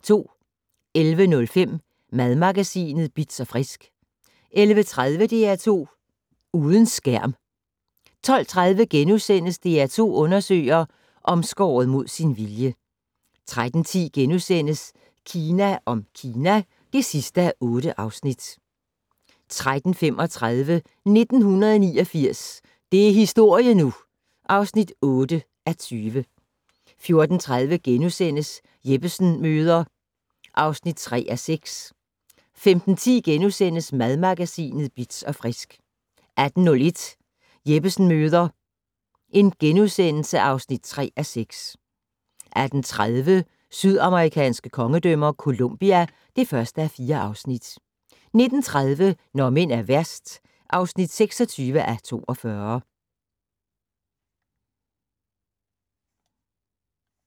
11:05: Madmagasinet Bitz & Frisk 11:30: DR2 Uden skærm 12:30: DR2 undersøger: Omskåret mod sin vilje * 13:10: Kina om Kina (8:8)* 13:35: 1989 - det er historie nu! (8:20) 14:30: Jeppesen møder (3:6)* 15:10: Madmagasinet Bitz & Frisk * 18:01: Jeppesen møder (3:6)* 18:30: Sydamerikanske kongedømmer - Colombia (1:4) 19:30: Når mænd er værst (26:42)